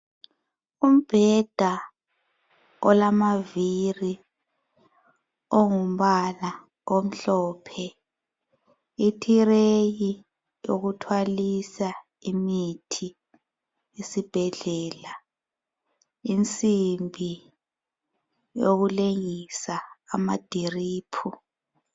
Umbheda olamaviri ongumbala omhlophe, itireyi yokuthwalisa imithi esibhedlela, insimbi yokulengisa amadiriphu.